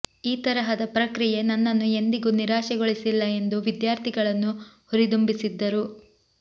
ಈ ತರಹದ ಪ್ರಕ್ರಿಯೆ ನನ್ನನ್ನು ಎಂದಿಗೂ ನಿರಾಶೆಗೊಳಿಸಿಲ್ಲ ಎಂದು ವಿದ್ಯಾರ್ಥಿಗಳನ್ನು ಹುರಿದುಂಬಿಸಿದರು